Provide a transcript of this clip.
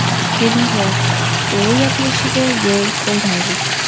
Kelinglar, u yopilishiga yo‘l qo‘ymaylik.